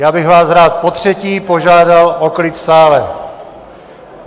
Já bych vás rád potřetí požádal o klid v sále!